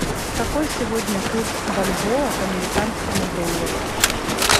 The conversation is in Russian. какой сегодня курс бальбоа к американскому доллару